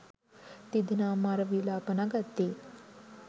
තිදෙනා මර විළාප නඟද්දී